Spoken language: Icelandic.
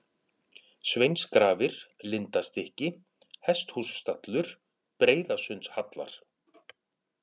Sveinsgrafir, Lindastykki, Hesthússtallur, Breiðasundshallar